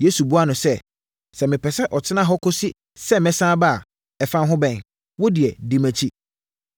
Yesu buaa no sɛ, “Sɛ mepɛ sɛ ɔtena hɔ kɔsi sɛ mɛsane aba a, ɛfa wo ho bɛn? Wo deɛ, di mʼakyi.”